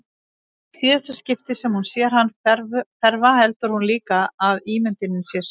Í síðara skiptið sem hún sér hann hverfa heldur hún líka að ímyndunin sé sönn.